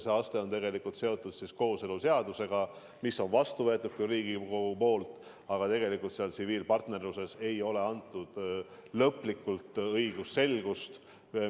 See aste on seotud kooseluseadusega, mis on Riigikogus vastu võetud, aga tegelikult tsiviilpartnerluses ei ole selles osas lõplikku õigusselgust.